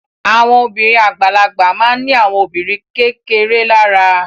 Àwọn obìnrin àgbàlagbà ma ní àwọn obìnrin kékeré lára